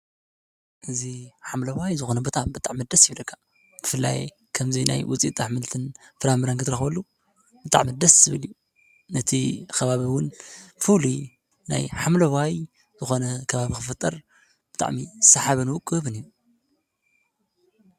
እዚ ሓምለዋይ ዝኾነ ቦታ ብጣዕሚ ደስ ይብለካ፡፡ ብፍላይ ከምዚ ናይ ውፅኢት ኣሕምልትን ፍራምረን ክትረኽበሉ ብጣዕሚ ደስ ዝብል እዩ፡፡ ነቲ ከባቢ እውን ፍሉይ ናይ ሓምለዋይ ዝኮነ ከባቢ ክፍጠር ብጣዕሚ ሰሓብን ውቁብን እዩ፡፡